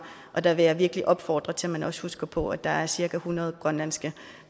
og der vil jeg virkelig opfordre til at man også husker på at der er cirka hundrede grønlandske